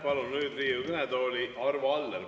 Palun nüüd Riigikogu kõnetooli Arvo Alleri.